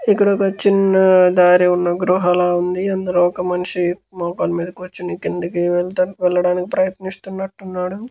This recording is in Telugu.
ఇక్కడ ఒక చిన్న దారి ఉన్న గృహ లా ఉంది అందులో ఒక మనిషి మోకాళ్ళ మీద కూర్చుని కిందకి వెళ్ళటానికి ప్రయత్నిస్తునటున్నాడు.